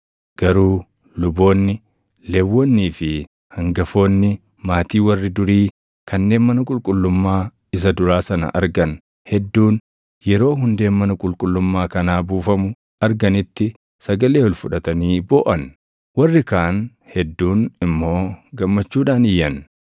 Garuu luboonni, Lewwonnii fi hangafoonni maatii warri durii kanneen mana qulqullummaa isa duraa sana argan hedduun yeroo hundeen mana qulqullummaa kanaa buufamu arganitti sagalee ol fudhatanii booʼan; warri kaan hedduun immoo gammachuudhaan iyyan.